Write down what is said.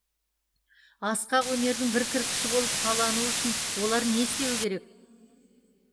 асқақ өнердің бір кірпіші болып қалануы үшін олар не істеуі керек